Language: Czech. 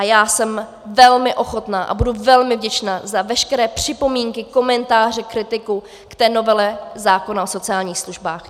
A já jsem velmi ochotna a budu velmi vděčna za veškeré připomínky, komentáře, kritiku k té novele zákona o sociálních službách.